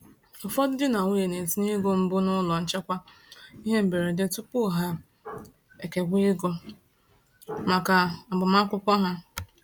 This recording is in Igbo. Ụfọdụ di na nwunye na-etinye ego mbụ n’ụlọ nchekwa ihe mberede tupu ha ekewa ego maka agbamakwụkwọ ha.